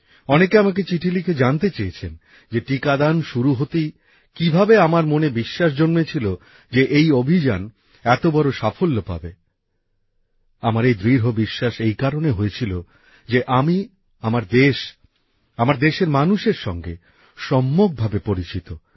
অনেকে আমাকে চিঠি লিখে জানতে চেয়েছেন যে টিকাদান শুরু হতেই কীভাবে আমার মনে বিশ্বাস জন্মেছিল যে এই অভিযান এত বড় সাফল্য পাবে আমার দৃঢ় বিশ্বাস এই কারণে হয়েছিল যে আমি আমার দেশ আমার দেশের মানুষের সঙ্গে সম্যকভাবে পরিচিত